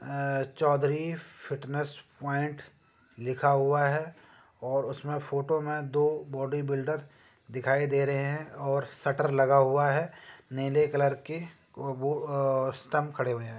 अ Chaudhary fitness point लिखा हुआ है और उसमें फोटो में दो बॉडी बिल्डर दिखाई दे रहे हैं और शटर लगा हुआ है नीले कलर के वो अ स्तंभ खड़े हुए हैं।